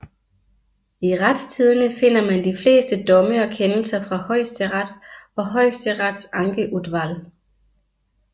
I Retstidende finder man de fleste domme og kendelser fra Høyesterett og Høyesteretts ankeutvalg